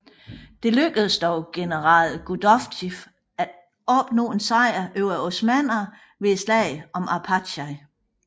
Det lykkedes dog general Gudovitj af opnå en sejr over osmannerne ved slaget om Arpachai